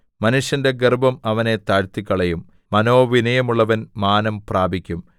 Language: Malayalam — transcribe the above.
മനുഷ്യന്റെ ഗർവ്വം അവനെ താഴ്ത്തിക്കളയും മനോവിനയമുള്ളവൻ മാനം പ്രാപിക്കും